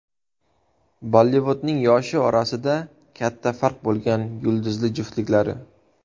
Bollivudning yoshi orasida katta farq bo‘lgan yulduzli juftliklari .